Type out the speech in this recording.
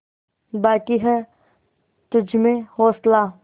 बाक़ी है तुझमें हौसला